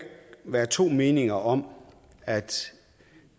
være to meninger om at